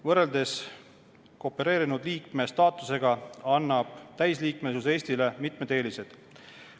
Võrreldes koopereerunud liikme staatusega annab täisliikmesus Eestile mitmed eelised.